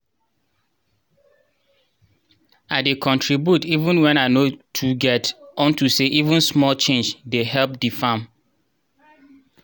i dey contribute even wen i no too get unto say even small change dey help di farm.